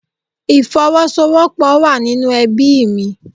Ìfowọ́sowọ́pọ̀ wá nínú ẹbíì mi.